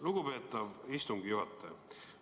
Lugupeetav istungi juhataja!